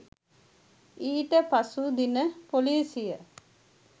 ඊට පසු දින පොලිසිය